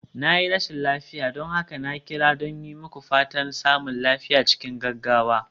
Na yi rashin lafiya, don haka na kira don yi muku fatan samun lafiya cikin gaggawa.